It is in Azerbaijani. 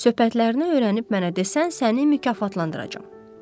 Söhbətlərini öyrənib mənə desən, səni mükafatlandıracam.